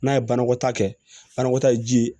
N'a ye banakɔtaa kɛ banakɔta ye ji ye